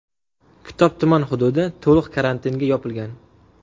Kitob tuman hududi to‘liq karantinga yopilgan.